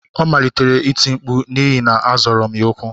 Ọ malitere iti mkpu n'ihi na m zọrọ ya ọkpa